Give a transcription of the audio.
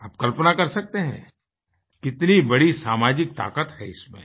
आप कल्पना कर सकते हैं कितनी बड़ी सामाजिक ताकत है इसमें